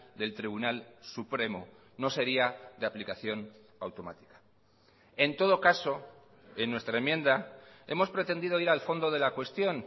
del tribunal supremo no sería de aplicación automática en todo caso en nuestra enmienda hemos pretendido ir al fondo de la cuestión